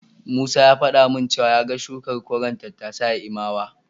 Musa ya faɗa min cewa ya ga shukar koren tattasai a Imawa.